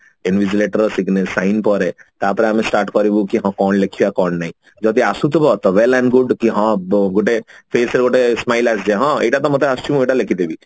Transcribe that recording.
sign ପରେ ତାପରେ ଆମେ start କରିବୁ କି ହଁ କଣ ଲେଖିବା କଣ ନାଇଁ ଯଦି ଆସୁଥିବ ତ well and good କି ହଁ ବ ଗୋଟେ face ରେ ଗୋଟେ smile ଆସିଯାଏ ହଁ ଏଇଟା ତ ମତେ ଆସୁଛି ମୁଁ ଏଇଟା ଲେଖିଦେବି